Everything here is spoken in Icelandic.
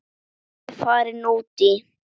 Ég er farin út í.